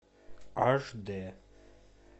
аш дэ